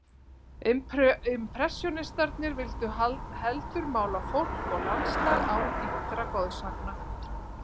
Impressjónistarnir vildu heldur mála fólk og landslag án ýktra goðsagna.